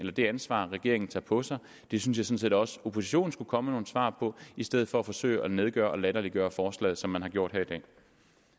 er det ansvar regeringen tager på sig det synes jeg også oppositionen skulle komme med nogle svar på i stedet for at forsøge at nedgøre og latterliggøre forslaget som man har gjort her i dag